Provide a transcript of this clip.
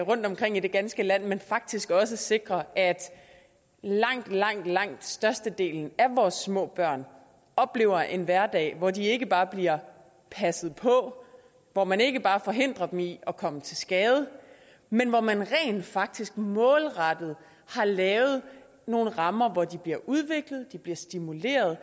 rundtomkring i det ganske land men faktisk også sikrer at langt langt langt størstedelen af vores små børn oplever en hverdag hvor de ikke bare bliver passet på hvor man ikke bare forhindrer dem i at komme til skade men hvor man rent faktisk målrettet har lavet nogle rammer hvor de bliver udviklet de bliver stimuleret